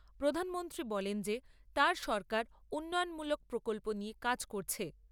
প্রধানমন্ত্রী বলেন যে তাঁর সরকার উন্নয়নমূলক প্রকল্প নিয়ে কাজ করছে।